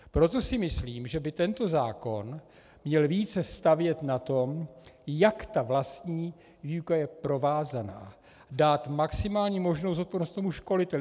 Proto si myslím, že by tento zákon měl více stavět na tom, jak ta vlastní výuka je provázaná, dát maximální možnou zodpovědnost tomu školiteli.